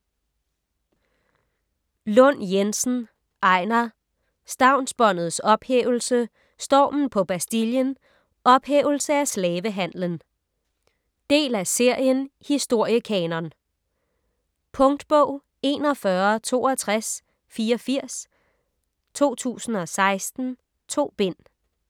Lund Jensen, Einar: Stavnsbåndets ophævelse, Stormen på Bastillen, Ophævelse af slavehandlen Del af serien Historiekanon. Punktbog 416284 2016. 2 bind.